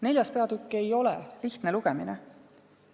Neljas peatükk ei ole lihtne lugemine.